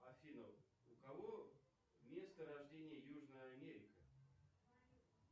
афина у кого место рождения южная америка